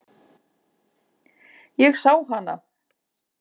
Ég sá hana.